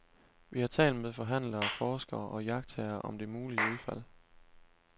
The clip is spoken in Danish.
Vi har talt med forhandlere, forskere og iagttagere om det mulige udfald.